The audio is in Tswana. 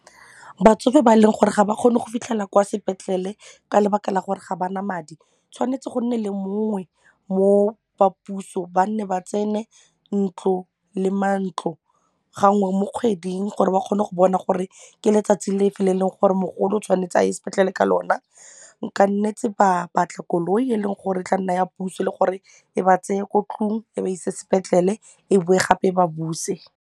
Batsofe ba e leng gore ga ba kgone go fitlhela kwa sepetlele ka lebaka la gore ga ba na madi tshwanetse go nne le mongwe mo ba puso ba nne ba tsene ntlo le mantlo gangwe mo kgweding gore ba kgone go bona gore ke letsatsi lefe le e leng gore mogolo o tshwanetse a ye sepetlele ka lona, ba ka nnetse ba batla koloi e leng gore e tla nna ya puso le gore e ba tseye ko tlung e ba ise sepetlele e bowe gape e ba buse.